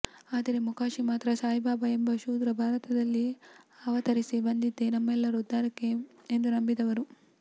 ಆದರೆ ಮೊಕಾಶಿ ಮಾತ್ರ ಸಾಯಿಬಾಬಾ ಎಂಬ ಶೂದ್ರ ಭಾರತದಲ್ಲಿ ಅವತರಿಸಿ ಬಂದದ್ದೇ ನಮ್ಮೆಲ್ಲರ ಉದ್ಧಾರಕ್ಕೆ ಎಂದು ನಂಬಿದವರು